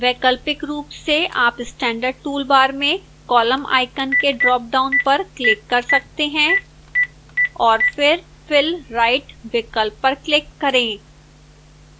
वैकल्पिक रूप से आप standard toolbar में column icon के dropdown पर click कर सकते हैं